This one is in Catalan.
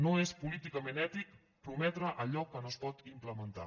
no és políticament ètic prometre allò que no es pot implementar